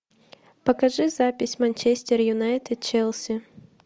покажи запись манчестер юнайтед челси